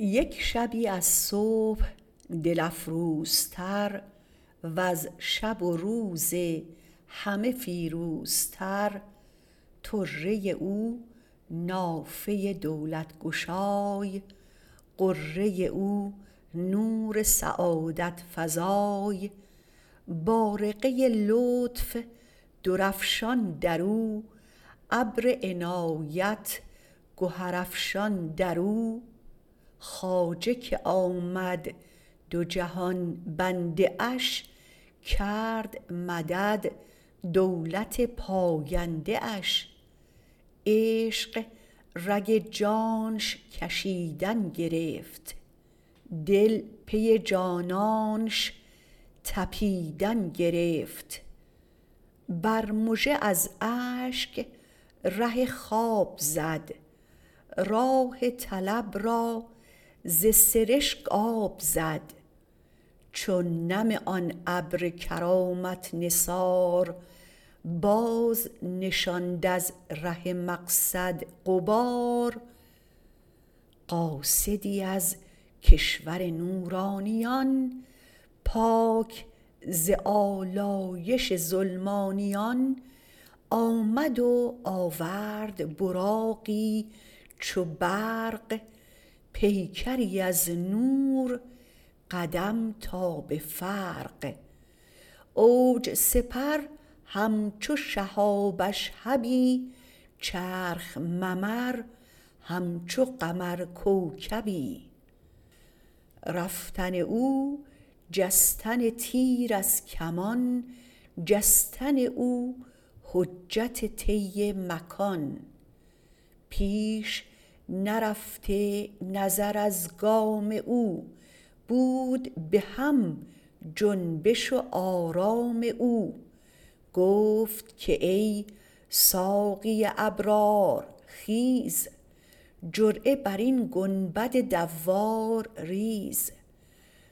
یک شبی از صبح دل افروزتر وز شب و روز همه فیروزتر طره او نافه دولت گشای غره او نور سعادت فزای بارقه لطف درافشان در او ابر عنایت گهر افشان در او خواجه که آمد دو جهان بنده اش کرد مدد دولت پاینده اش عشق رگ جانش کشیدن گرفت دل پی جانانش طپیدن گرفت بر مژه از اشک ره خواب زد راه طلب از ز سرشک آب زد چون نم آن ابر کرامت نثار باز نشاند از ره مقصد غبار قاصدی از کشور نورانیان پاک ز آلایش ظلمانیان آمد و آورد براقی چو برق پیکری از نور قدم تا به فرق اوج سپر همچو شهاب اشهبی چرخ ممر همچو قمر کوکبی رفتن او جستن تیر از کمان جستن او حجت طی مکان پیش نرفته نظر از گام او بود به هم جنبش و آرام او گفت که ای ساقی ابرار خیز جرعه بر این گنبد دوار ریز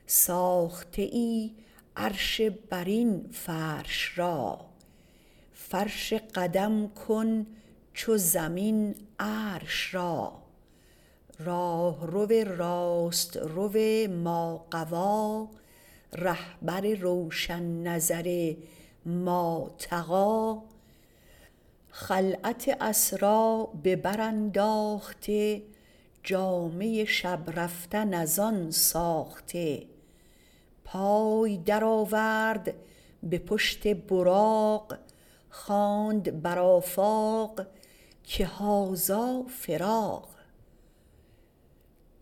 ساخته ای عرش برین فرش را فرش قدم کن چو زمین عرش را راهرو راسترو ماغوی رهبر روشن نظر ماطغی خلعت اسری به برانداخته جامه شب رفتن ازان ساخته پای درآورد به پشت براق خواند بر آفاق که هذا فراق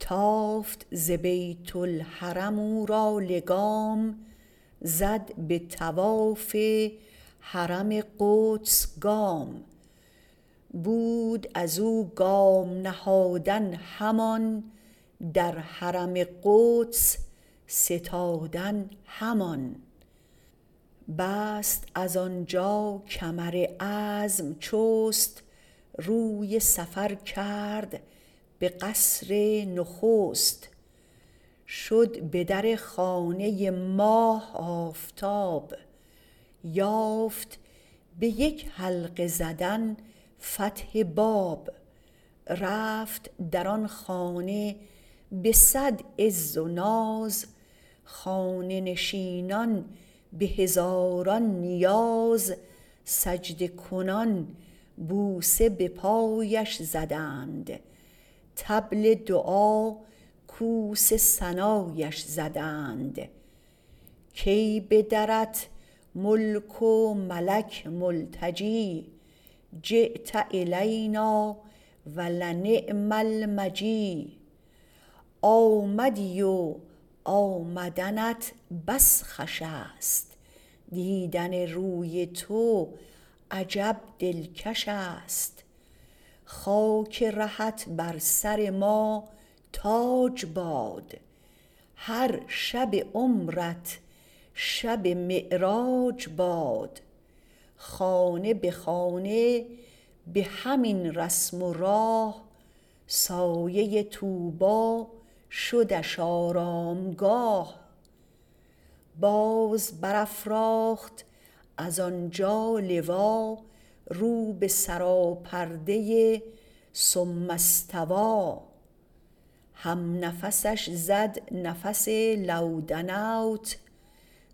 تافت ز بیت الحرم او را لگام زد به طواف حرم قدس گام بود ازو گام نهادن همان در حرم قدس ستادن همان باز از آنجا کمر عزم جست روی سفر کرد به قصر نخست شد به در خانه ماه آفتاب یافت به یک حلقه زدن فتح باب رفت در آن خانه به صد عز و ناز خانه نشینان به هزاران نیاز سجده کنان بوسه به پایش زدند طبل دعا کوس ثنایش زدند کای به درت ملک و ملک ملتجی جیت الینا و لنعم المجی آمدی و آمدنت بس خوش است دیدن روی تو عجب دلکش است خاک رهت بر سر ما تاج باد هر شب عمرت شب معراج باد خانه به خانه به همین رسم و راه سایه طوبی شدش آرامگاه باز برافراخت از آنجا لوا رو به سراپرده ثم استوی همنفسش زد نفس لو دنوت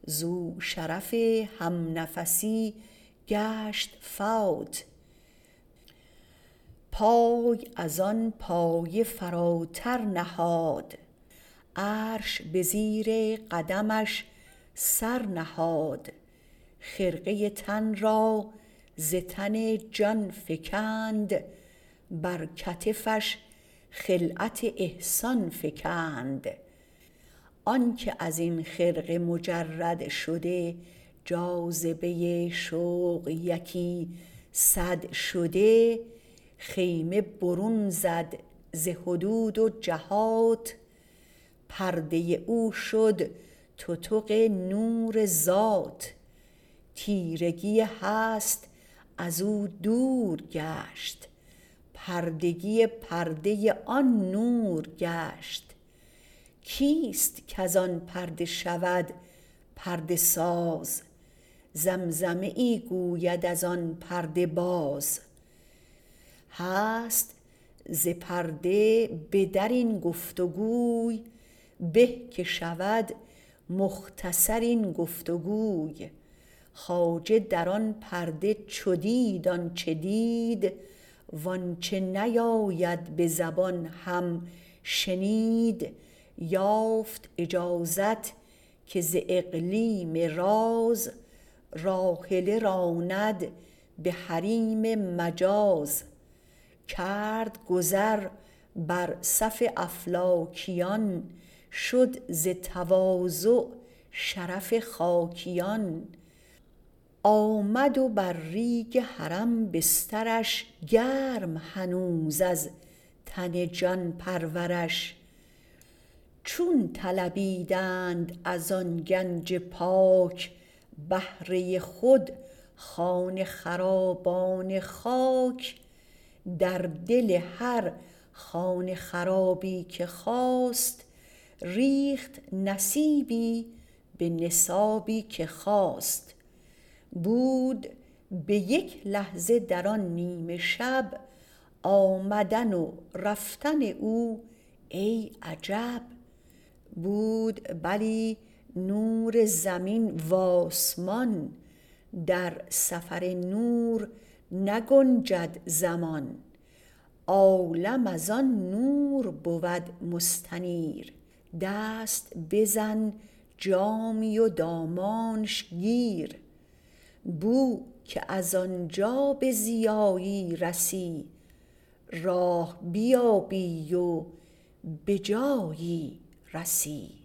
زو شرف همنفسی گشت فوت پای ازان پایه فراتر نهاد عرش به زیر قدمش سر نهاد خرقه تن را ز تن جان فکند بر کتفش خلعت احسان فکند آن که ازین خرقه مجرد شده جاذبه شوق یکی صد شده خیمه برون زد ز حدود و جهات پرده او شد تتق نور ذات تیرگی هست ازو دور گشت پردگی پرده آن نور گشت کیست کزان پرده شود پرده ساز زمزمه ای گوید ازان پرده باز هست ز پرده بدر این گفت و گوی به که شود مختصر این گفت و گوی خواجه در آن پرده چو دید آنچه دید وانچه نیاید به زبان هم شنید یافت اجازت که ز اقلیم راز راحله راند به حریم مجاز کرد گذر بر صف افلاکیان شد ز تواضع شرف خاکیان آمد و بر ریگ حرم بسترش گرم هنوز از تن جان پرورش چون طلبیدند ازان گنج پاک بهره خود خانه خرابان خاک در دل هر خانه خرابی که خواست ریخت نصیبی به نصابی که خواست بود به یک لحظه در آن نیمه شب آمدن و رفتن او ای عجب بود بلی نور زمین و آسمان در سفر نور نگنجد زمان عالم ازان نور بود مستنیر دست بزن جامی و دامانش گیر بو که از آنجا به ضیایی رسی راه بیابی و به جایی رسی